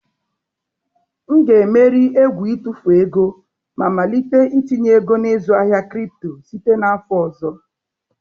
M ga-emeri egwu itụfu ego ma malite itinye ego na ịzụ ahịa kripto site n'afọ ọzọ.